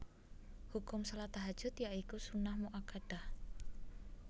Hukum shalat Tahajjud ya iku sunnah muakkadah